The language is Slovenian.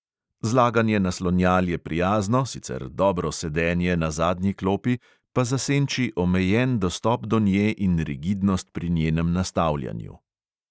Zlaganje naslonjal je prijazno, sicer dobro sedenje na zadnji klopi pa zasenči omejen dostop do nje in rigidnost pri njenem nastavljanju.